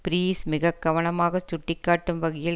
breeze மிக கவனமாகச் சுட்டிக்காட்டும் வகையில்